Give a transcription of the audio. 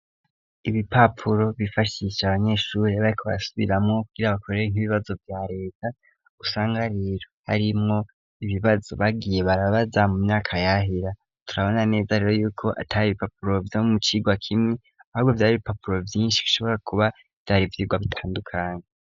Ibipapuro bifashisha abanyeshure bariko barasubiramwo, kugira bakorere nk'ibibazo vya Reta, usanga rero harimwo ibibazo bagiye barabaza mu myaka yahera, turabona neza rero yuko atari ibipapuro vyo mu cigwa kimwe, ahubwo vyari ibipapuro vyinshi bishobora kuba vyari ivyirwa bitandukane.